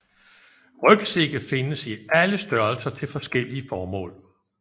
Rygsække findes i alle størrelser til forskellige formål